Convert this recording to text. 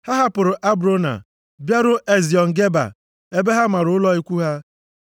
Ha hapụrụ Abrona bịaruo Eziọn Geba ebe ha mara ụlọ ikwu ha.